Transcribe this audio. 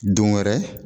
Don wɛrɛ